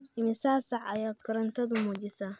Immisa saac ayaa korontadu muujisaa?